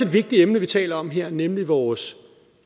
vigtigt emne vi taler om her nemlig vores